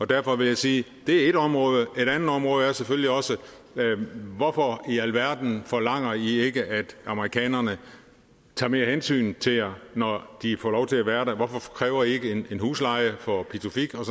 derfor vil jeg sige at det er ét område et andet område er selvfølgelig også hvorfor i alverden forlanger i ikke at amerikanerne tager mere hensyn til jer når de får lov til at være der hvorfor kræver i ikke en husleje for pituffik og